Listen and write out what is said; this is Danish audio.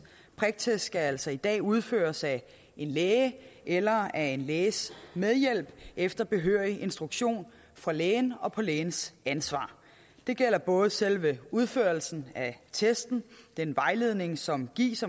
priktest skal altså i dag udføres af en læge eller af en læges medhjælp efter behørig instruktion fra lægen og på lægens ansvar det gælder både selve udførelsen af testen den vejledning som gives